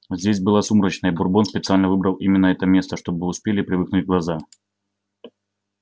здесь было сумрачно и бурбон специально выбрал именно это место чтобы успели привыкнуть глаза